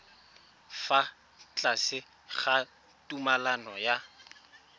fa tlase ga tumalano ya